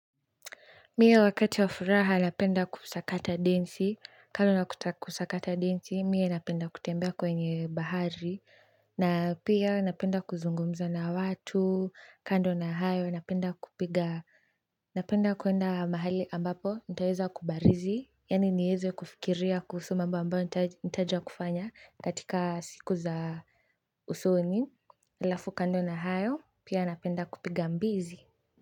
Mie wakati wa furaha napenda kusakata densi, kando na kusakata densi, mie napenda kutembea kwenye bahari na pia napenda kuzungumza na watu kando na hayo napenda kwenda mahali ambapo nitaweza kubarizi yani niweze kufikiria mambo ambayo nitaja kufanya katika siku za usoni alafu kando na hayo, pia napenda kupiga mbizi.